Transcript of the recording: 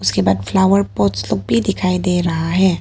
Flower pots तब भी दिखाई दे रहा है।